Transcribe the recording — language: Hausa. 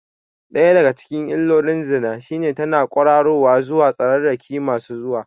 Ɗaya daga cikin illolin zina shine tana ƙwararowa zuwa tsararraki masu zuwa.